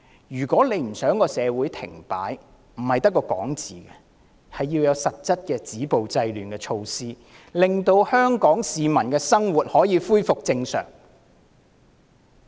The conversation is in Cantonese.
如果特首不想社會停擺，光說是沒有用的，要有實質的止暴制亂措施，令香港市民的生活可恢復正常。